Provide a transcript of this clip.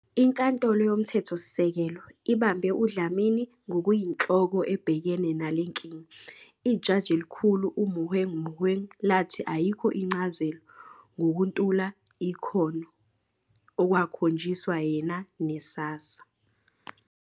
INkantolo yoMthethosisekelo ibambe uDlamini ngokuyinhloko ebhekene nale nkinga, iJaji Elikhulu uMogoeng Mogoeng lathi ayikho incazelo ngokuntula ikhono okwakhonjiswa yena ne-SASSA.